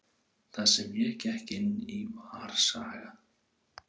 Það sem ég gekk inn í var saga.